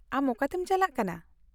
-ᱟᱢ ᱚᱠᱟᱛᱮᱢ ᱪᱟᱞᱟᱜ ᱠᱟᱱᱟ ?